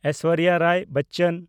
Aishwarya Rai Bachchan